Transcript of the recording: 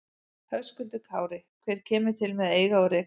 Höskuldur Kári: Hver kemur til með að eiga og reka þetta?